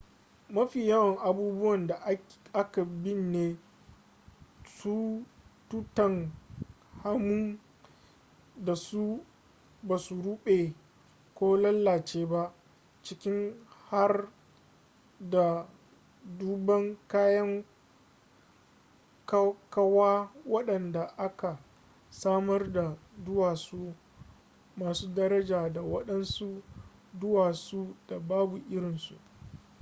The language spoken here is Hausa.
mafi yawan abubuwan da aka binne tutankhamun da su basu rube ko lalace ba ciki har da dubban kayan kawa wadanda aka samar daga duwatsu masu daraja da wadansu duwatsu da babu irinsu